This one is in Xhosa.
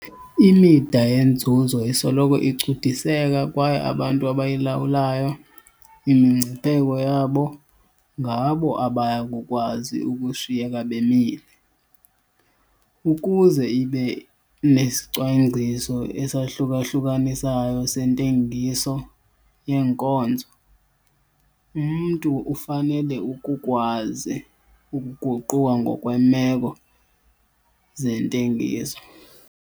Imida yenzuzo isoloko icudiseka kwaye abantu abayilawulayo imingcipheko yabo ngabo abaya kukwazi ukushiyeka bemile. Ukuze ibe nesicwangciso esahluka-hlukanisayo sentengiso yeenkonzo, umntu ufanele ukukwazi ukuguquka ngokweemeko zentengiso.